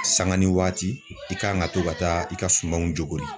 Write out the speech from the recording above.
Sanga ni waati i kan ka to ka taa i ka sumanw jogori.